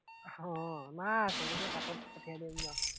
আহ না, সৱকে পাছত পঠিয়াই দিম বাও